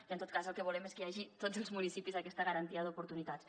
i en tot cas el que volem és que hi hagi a tots els municipis aquesta garantia d’oportunitats